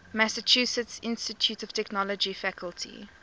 massachusetts institute of technology faculty